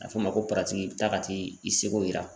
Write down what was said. A bɛ fɔ o ma ko i bɛ taa ka t'i i seko yira .